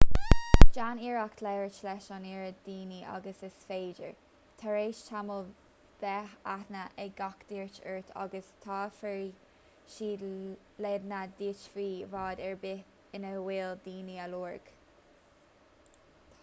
déan iarracht labhairt leis an oiread daoine agus is féidir tar éis tamaill beidh aithne ag gach duine ort agus tabharfaidh siad leideanna duit faoi bhád ar bith ina bhfuil duine á lorg